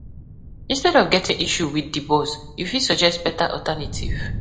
Instead of getting issue with di boss, you fit suggest better alternative